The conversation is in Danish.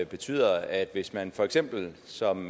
betyder at hvis man for eksempel som